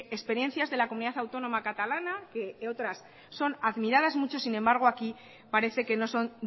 experiencias de la comunidad autónoma catalana que otras son admiradas mucho sin embargo aquí parece que no son